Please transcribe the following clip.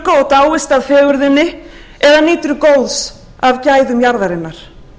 dáist að fegurðinni eða nýtur góðs af gæðum jarðarinnar